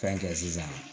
Fɛn kɛ sisan